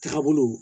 Taabolo